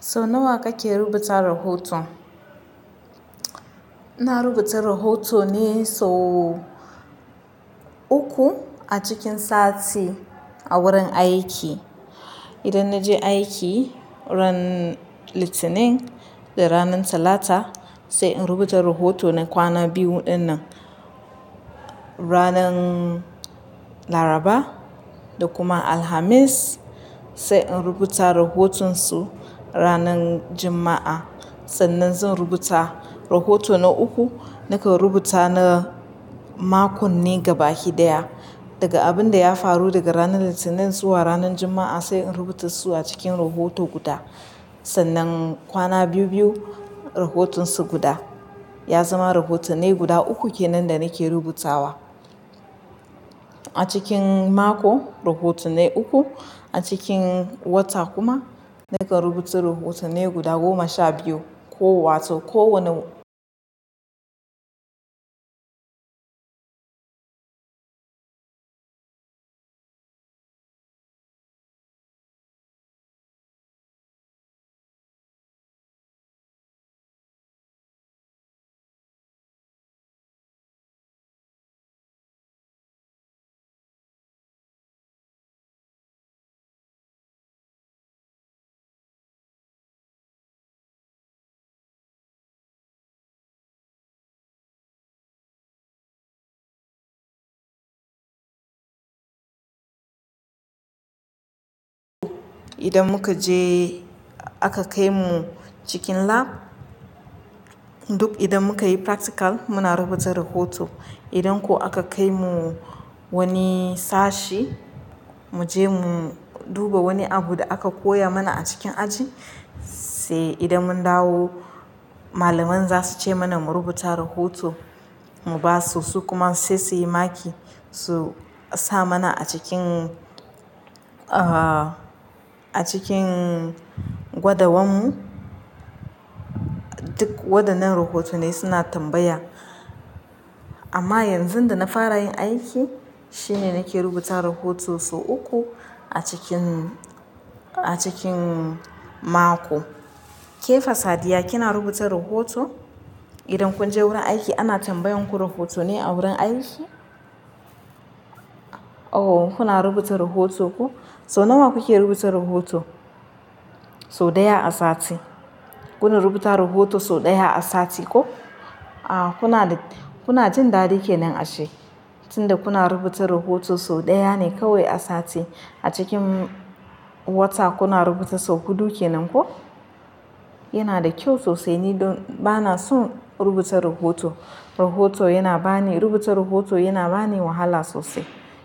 Sau nawa kake rubuta rahoto? Na rubuta rahoto ne sau uku a cikin sati a wurin aiki. Idan na je aiki ran Litinin da ranar Talata sai in rubuta rahoto na kwana biyu ɗin nan. Ranar Laraba da kuma Alhamis sai in rubuta rahoton su ranar Juma'a. Sannan zan rubuta rahoto na uku nakan rubuta na makon ne gabaki ɗaya Daga abin da ya faru daga ranar Litinin zuwa ranar Juma'a sai in rubuta su a cikin rahoto guda. Sannan kwana biyu biyu rahoton su guda ya zama rahotonnai guda uku kenan da nake rubutawa. A cikin mako rahotunnai uku, a cikin wata kuma nakan rubuta rahotannai guda goma sha biyu. Ko wato kowane idan muka je aka kai mu cikin lab duk idan muka yi practical muna rubuta rahoto. Idan kuwa aka kai mu wani sashi mu je mu duba wani abu da aka koya mana a cikin aji sai idan mun dawo malaman za su ce mana mu rubuta rahoto mu ba su su kuma sai su yi maki su sa mana a cikin, ah a cikin gwadawan mu duk waɗannan rahotannai suna tambaya. Amma yanzu da na fara yin aiki shine nake rubuta rahoto sau uku a cikin, a cikin mako. Kefa Sadiya kina rubuta rahoto? Idan kun je wurin aiki ana tambayen ku rahoto ne a wurin aiki? Oh kuna rubuta rahoto ku? Sau nawa kuke rubuta rahoto? Sau ɗaya a sati. Kuna rubuta rahoto sau ɗaya a sati ko? A kuna, kuna jin daɗi kenan ashe tunda kuna rubuta rahoto sau ɗaya ne kawai a sati. A cikin wata kuna rubuta sau huɗu kenan ko? Yana da kyau sosai ni don bana son rubuta rahoto. Rahoto yana bani, rubuta rahoto yana bani wahala sosai.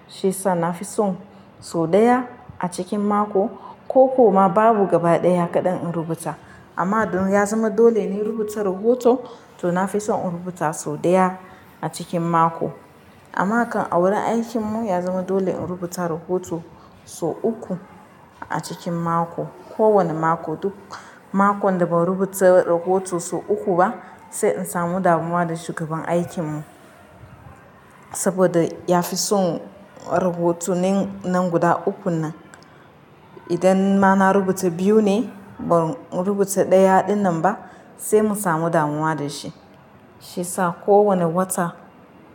Shi sa na fi son sau ɗaya a cikin mako ko kuma babu gaba ɗaya kaɗan in rubuta. Amma don ya zama dole ne rubuta rahoto to na fi son in rubuta sau ɗaya a cikin mako. Amma kan a wurin aikin mu ya zama dole in rubuta rahoto sau uku a cikin mako. Ko wani mako duk makon da ban rubuta rahoto sau uku ba sai in samu damuwa da shugaban aikin mu. Saboda ya fi son rahotunnin nan guda ukun nan. Idan ma na rubuta biyu ne ban rubuta ɗaya ɗin nan ba sai mu samu damuwa da shi. Shi ya sa ko wane wata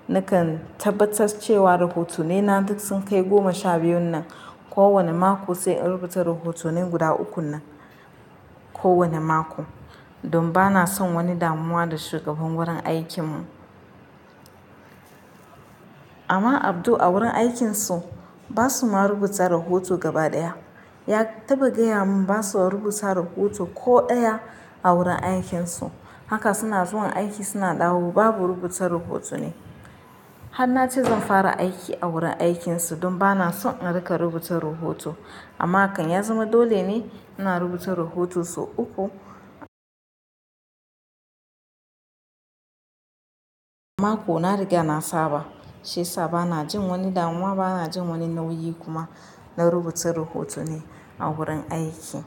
nakan tabbatar cewa rahotonnai na duk sun kai goma sha biyun nan. Ko wane mako sai in rubuta rahotannin guda uku nan. Ko wani mako. Don bana son wani damuwa da shugaban wurin aikin mu. Amma Abdul a wurin aikin su ba su ma rubuta rahoto gaba ɗaya. Ya taba gaya mun ba su wani rubuta rahoto ko ɗaya a wurin aikin su. Haka suna zuwa aiki suna dawo babu rubuta rahoto ne. Hanace zan fara aiki a wurin aikin su don bana son in rika rubuta rahoto. Amma kan ya zama dole ne ina rubuta rahoto sau uku mako na rika na saba. Shi sa bana jin wani damuwa bana jin wani nauyi kuma na rubuta rahotanni a wurin aiki.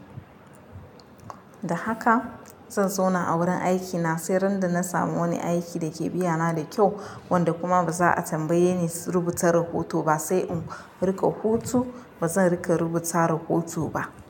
Da haka zan zauna a wurin aiki na sai ran da na samu wani aiki da ke biyana da kyau wanda kuma ba za a tambaye ni rubuta rahoto ba sai in rika hutu bazan rika rubuta rahoto ba.